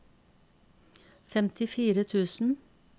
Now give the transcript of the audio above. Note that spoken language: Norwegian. femtifire tusen